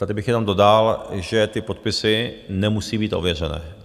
Tady bych jenom dodal, že ty podpisy nemusí být ověřené.